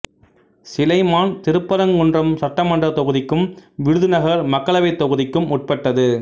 சிலைமான் திருப்பரங்குன்றம் சட்டமன்றத் தொகுதிக்கும் விருதுநகர் மக்களவைத் தொகுதிக்கும் உட்பட்டது